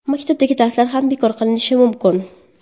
Maktabdagi darslar ham bekor qilinishi mumkin.